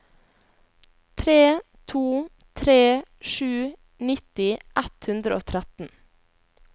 tre to tre sju nitti ett hundre og tretten